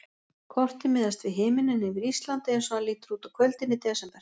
Kortið miðast við himininn yfir Íslandi eins og hann lítur út á kvöldin í desember.